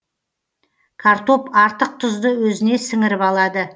картоп артық тұзды өзіне сіңіріп алады